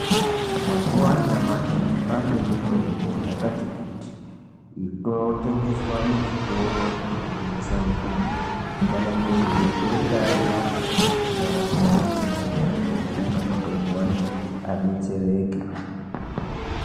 Mazuwa anyamashi kwane mitombo yakati kuti inotengeswa muzvitoro zvinotengesa mitombo. Kana muntu einga arwara ngarumbe kona iyoyo kotenga mutombo wake abetsereke.